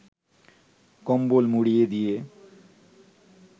কম্বল মুড়ি দিয়ে